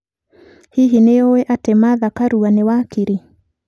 Hihi nĩ ũĩ atĩ Martha Karua nĩ wakiri?